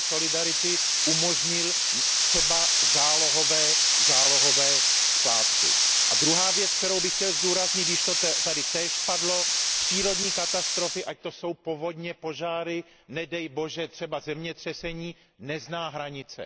fond solidarity umožnil třeba zálohové splátky. A druhá věc, kterou bych chtěl zdůraznit, již to tady též padlo, přírodní katastrofy, ať to jsou povodně, požáry, nedej Bože třeba zemětřesení, neznají hranice.